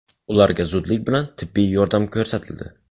Ularga zudlik bilan tibbiy yordam ko‘rsatildi.